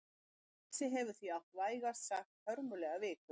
Messi hefur því átt vægast sagt hörmulega viku.